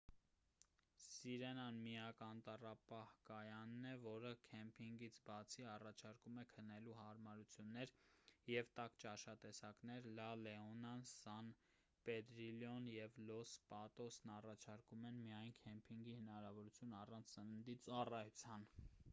սիրենան միակ անտառապահ-կայանն է որը քեմփինգից բացի առաջարկում է քնելու հարմարություններ և տաք ճաշատեսակներ լա լեոնան սան պեդրիլլոն և լոս պատոսն առաջարկում են միայն քեմփինգի հնարավորություն առանց սննդի ծառայության